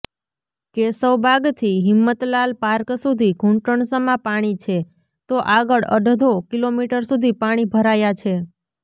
કેશવબાગથી Himmatlal park સુધી ઘૂંટણસમા પાણી છે તો આગળ અડધો કિલોમીટર સુધી પાણી ભરાયા છે